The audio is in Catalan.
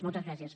moltes gràcies